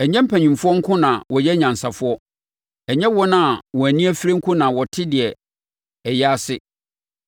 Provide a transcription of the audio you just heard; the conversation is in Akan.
Ɛnyɛ mpanimfoɔ nko na wɔyɛ anyansafoɔ, ɛnyɛ wɔn a wɔn ani afire nko na wɔte deɛ ɛyɛ ase.